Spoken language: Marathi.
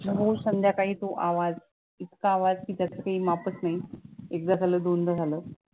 रोज संध्याकाळी तो आवाज इतका आवाज की त्याचा काही मापचं नाही, एकदा झालं, दोनदा झालं.